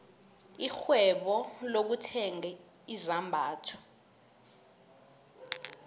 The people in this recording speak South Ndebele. irhwebo lokuthenga izambatho